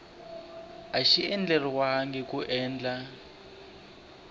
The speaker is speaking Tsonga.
a xi andlariwangi hi ndlela